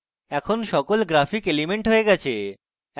এখন সকল graphic elements হয়ে গেছে